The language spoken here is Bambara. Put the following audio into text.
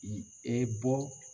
bɔ